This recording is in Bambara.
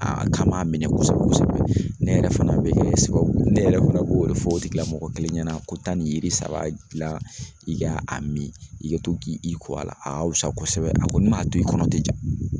Aa k'a ma minɛ kosɛbɛ kosɛbɛ ne yɛrɛ fana be kɛ sababu ne yɛrɛ fana b'o de fɔ o tigila mɔgɔ kelen ɲɛna ko taa ni yiri saba gilan i k'a min i ka to k'i ko a la o kɔni ka wusu kosɛbɛ a kɔni m'a to i kɔnɔ o tɛ ja